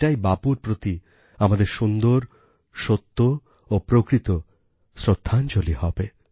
এটাই বাপুর প্রতি আমাদের সুন্দর সত্য ও প্রকৃত শ্রদ্ধাঞ্জলি হবে